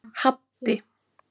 Haddi